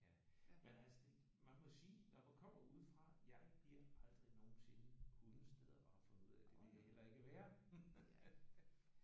Ja. Men altså det man må sige når man kommer udefra jeg bliver aldrig nogensinde hundesteder og har fundet ud af det vil jeg heller ikke være